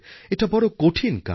এটা বড় কঠিন কাজ